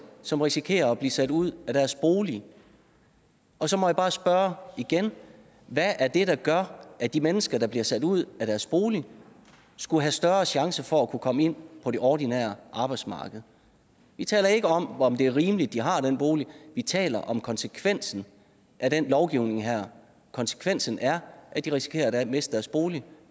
som risikerer at blive sat ud af deres bolig så må jeg bare spørge igen hvad er det der gør at de mennesker der bliver sat ud af deres bolig skulle have større chance for at kunne komme ind på det ordinære arbejdsmarked vi taler ikke om hvorvidt det er rimeligt at de har den bolig vi taler om konsekvensen af den lovgivning her konsekvensen er at de risikerer at miste deres bolig